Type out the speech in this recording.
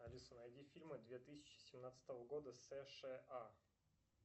алиса найди фильмы две тысячи семнадцатого года сша